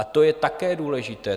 A to je také důležité.